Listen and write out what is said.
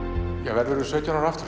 verðurðu sautján ára aftur